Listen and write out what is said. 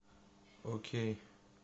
окей